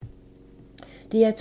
DR2